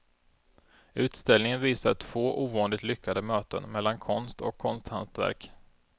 Utställningen visar två ovanligt lyckade möten mellan konst och konsthantverk.